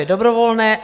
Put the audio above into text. Je dobrovolné.